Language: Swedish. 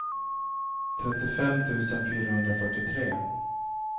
trettiofem tusen fyrahundrafyrtiotre